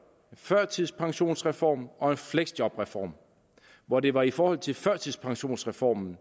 førtidspensionsreform og en fleksjobreform og det var i forhold til førtidspensionsreformen